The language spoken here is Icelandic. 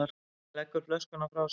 Hann leggur flöskuna frá sér.